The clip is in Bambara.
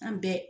An bɛɛ